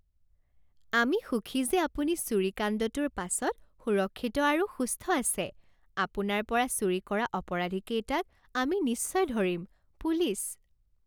আমি সুখী যে আপুনি চুৰিকাণ্ডটোৰ পাছত সুৰক্ষিত আৰু সুস্থ আছে। আপোনাৰ পৰা চুৰি কৰা অপৰাধীকেইটাক আমি নিশ্চয় ধৰিম। পুলিচ